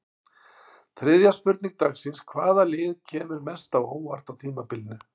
Þriðja spurning dagsins: Hvaða lið kemur mest á óvart á tímabilinu?